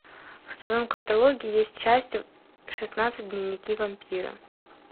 в твоем каталоге есть часть шестнадцать дневники вампира